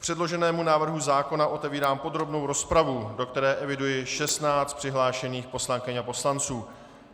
K předloženému návrhu zákona otevírám podrobnou rozpravu, do které eviduji 16 přihlášených poslankyň a poslanců.